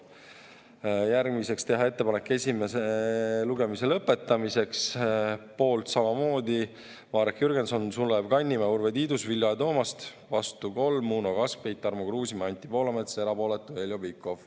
Järgmiseks, teha ettepanek esimene lugemine lõpetada .